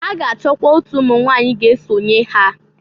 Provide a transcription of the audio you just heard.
Ha ga-achọkwa otu umunwanyị ga-esonye ha.